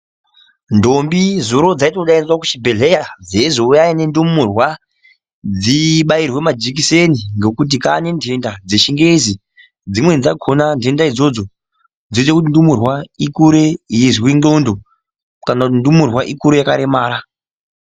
Ntombi zuro dzaitodaidzwa kuchibhedhleya dzichizi huyai nentumurwa dzibayirwe majikiseni ngekuti kwaa nentenda dzechingezi. Dzimweni dzakona ntenda idzodzo ndedzekuti ntumurwa ikure ichizwe ndxondo kana kuti ntumure ikure yakaremara.